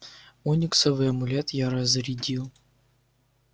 ониксовый амулет я разрядил